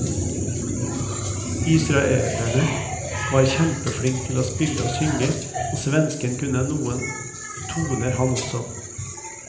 Israeleren var kjempeflink til å spille og synge, og svensken kunne noen toner han også.